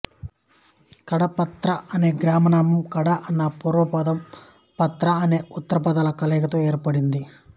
కడపత్ర అనే గ్రామనామం కడ అన్న పూర్వపదం పత్ర అనే ఉత్తరపదాల కలయికతో ఏర్పడుతోంది